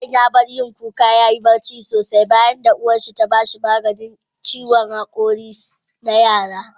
Yaron ya bar yin kuka yayi barci sosai, bayanda uwarsa ta ba shi maganin kashe zafin hakori na yara.